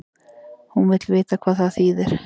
Hún vill vita hvað það þýðir.